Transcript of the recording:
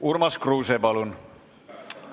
Urmas Kruuse, palun!